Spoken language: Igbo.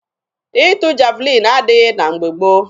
Ịtụ javalin adịghị na mgbe gboo.